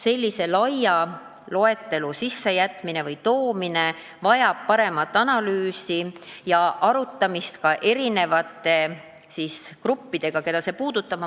Sellise laia loetelu sissetoomine vajab paremat analüüsi ja arutamist ka eri gruppidega, keda see puudutab .